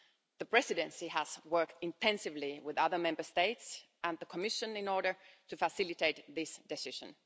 The Presidency has worked intensively with other Member States and the Commission in order to facilitate this decision.